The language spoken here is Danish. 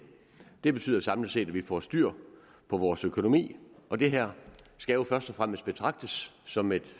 det betyder samlet set at vi får styr på vores økonomi og det her skal jo først og fremmest betragtes som et